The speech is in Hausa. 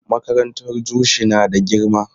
Makarantar Jushi na da girma.